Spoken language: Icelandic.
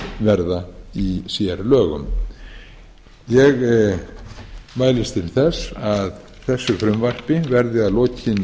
verða í sérlögum ég mælist til þess að þessu frumvarpi verði að lokinni